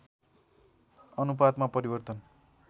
अनुपातमा परिवर्तन